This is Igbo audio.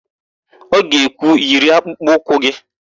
Ọ ga-ekwu, "yiri akpụkpọụkwụ gị"!